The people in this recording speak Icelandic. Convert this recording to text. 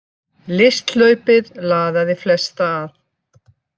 Listhlaupið laðaði flesta að